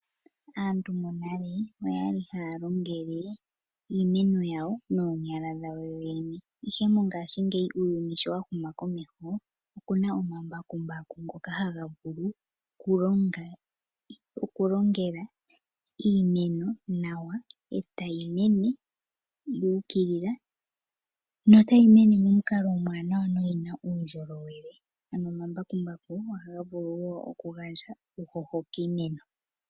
Aantu monale oya li haya longele iimeno yawo noonyala dhawo yoyene, ihe mongashingeyi uuyuni sho wa huma komeho oku na omambakumbaku ngoka haga vulu okulongela iimeno nawa e tayi mene yu ukilila notayi mene momukalo omuwanawa no yi na uundjolowele. Ano omambakumbaku ohaga vulu wo okugandja uuhoho kiimeno.